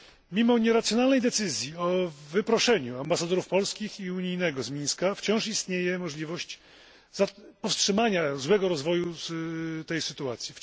Mimo nieracjonalnej decyzji o wyproszeniu ambasadorów polskiego i unijnego z Mińska, wciąż istnieje możliwość powstrzymania złego rozwoju tej sytuacji.